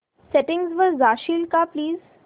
settings वर जाशील का प्लीज